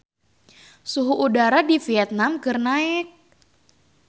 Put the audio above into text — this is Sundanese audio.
Suhu udara di Vietman keur naek